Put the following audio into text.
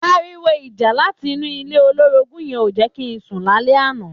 Àriwó ijà làtí inú ilé ólórógùn yèn ó jè ki n sún làlè ànã